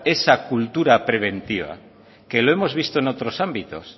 esa cultura preventiva que lo hemos visto en otros ámbitos